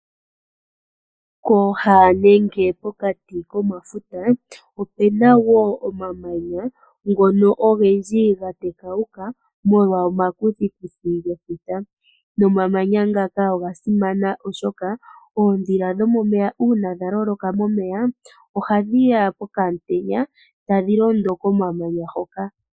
Kooha nenge pokati komafuta opena woo omamanya ngono ogendji ga tekauka molwa omakuthiikuthi gefuta. Nomamanya ngaka oga simana oshoka oodhila dhomomeya uuna dha loloka momeya, oha dhiya pokam'tenya ,tadhi londo komamanya hoka.